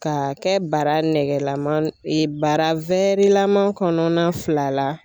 Ka kɛ bara nɛgɛlama bara lama kɔnɔna fila la.